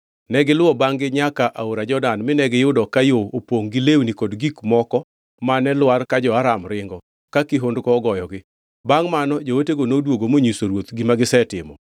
Negiluwo bangʼ-gi nyaka aora Jordan mine giyudo ka yo opongʼ gi lewni kod gik moko mane lwar ka jo-Aram ringo ka kihondko ogoyogi. Bangʼ mano jootego noduogo monyiso ruoth gima gisetimo.